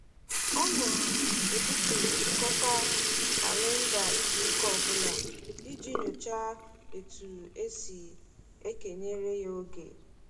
Ọ na-ebupu nchịkọta kalịnda izuụka ọbụla iji nyochaa etu e si ekenyere ya oge.